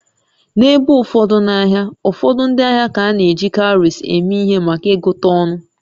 N'ebe ụfọdụ n'ahịa, ụfọdụ ndị ahịa ka na-eji cowries eme ihe maka ịgụta ọnụ